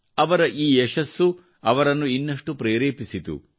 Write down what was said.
ಅವರ ಈ ಯಶಸ್ಸು ಅವರನ್ನು ಇನ್ನಷ್ಟು ಪ್ರೇರೇಪಿಸಿತು